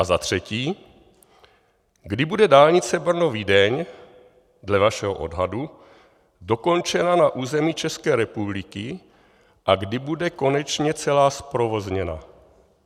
A za třetí: Kdy bude dálnice Brno-Vídeň dle vašeho odhadu dokončena na území České republiky a kdy bude konečně celá zprovozněna?